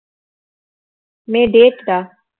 மே date டுடா